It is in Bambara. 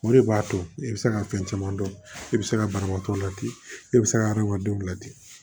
O de b'a to e bɛ se ka fɛn caman dɔn e bɛ se ka banabaatɔ ladi e bɛ se ka adamadenw ladi